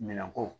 Minɛnko